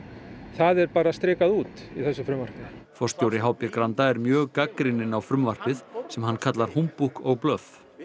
það er bara strikað út í þessu frumvarpi forstjóri h b Granda er mjög gagnrýninn á frumvarpið sem hann kallar húmbúkk og blöff